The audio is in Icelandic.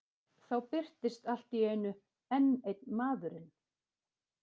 Þá birtist allt í einu enn einn maðurinn.